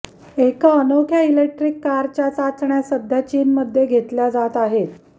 एका अनोख्या इलेक्ट्रिक कारच्या चाचण्या सध्या चीनमध्ये घेतल्या जात आहेत